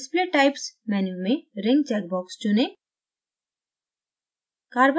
display types menu में ring checkbox चुनें